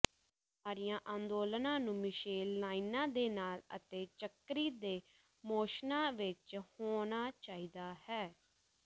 ਸਾਰੀਆਂ ਅੰਦੋਲਨਾਂ ਨੂੰ ਮਿਸ਼ੇਲ ਲਾਈਨਾਂ ਦੇ ਨਾਲ ਅਤੇ ਚੱਕਰੀ ਦੇ ਮੋਸ਼ਨਾਂ ਵਿੱਚ ਹੋਣਾ ਚਾਹੀਦਾ ਹੈ